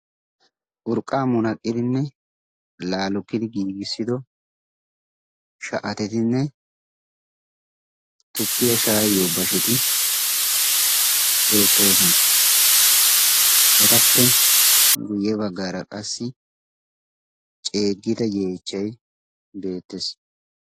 urqqa munaqidinne laalokidi giigissido sha7atetinne tukkiya shaayiyo basheti beettoosana. etappe guyye baggaara qassi ceeggida yeechchay beettees.